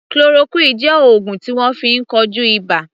Chloroquine jẹ́ oògùn tí wọ́n fi ń kojú ibà.